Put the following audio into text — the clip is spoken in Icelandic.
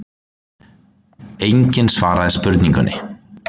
Enginn svaraði spurningunni.